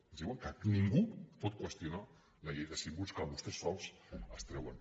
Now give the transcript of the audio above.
ens diuen que ningú pot qüestionar la llei de símbols que vostès sols es treuen